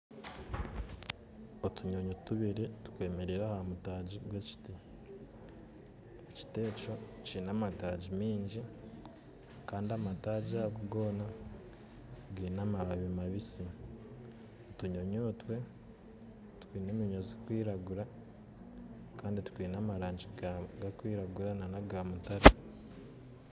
Otunyonyi tubiri twemerire ahamutagi gw'ekiti, ekiti ekyo kinamatagi mingi kandi amatagi ago gona geine amababi mabitsi. Otunyonyotwe twine eminywa zikwiragura kandi twine amarangi garikwiragura nana agamutaare.